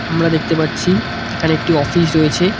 আমরা দেখতে পাচ্ছি এখানে একটি অফিস রয়েছে।